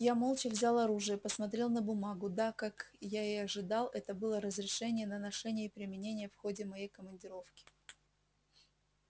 я молча взял оружие посмотрел на бумагу да как я и ожидал это было разрешение на ношение и применение в ходе моей командировки